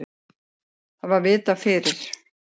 Það var vitað fyrir.